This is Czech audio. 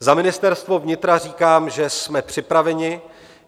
Za Ministerstvo vnitra říkám, že jsme připraveni.